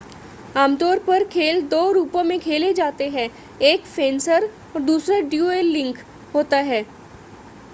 आमतौर पर खेल दो रूपों में खेले जाते हैं एक फ़ेंसर और दूसरा डयूएलिंग होता है